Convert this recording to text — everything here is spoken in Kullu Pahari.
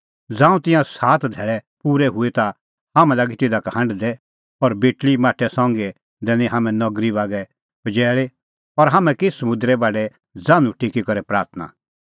ज़ांऊं तिंयां सात धैल़ै पूरै हुऐ ता हाम्हैं लागै तिधा का हांढदै और बेटल़ी माठै संघी दैनै हाम्हैं नगरी बागै पजैल़ी और हाम्हैं की समुंदरे बाढै ज़ान्हूं टेकी करै प्राथणां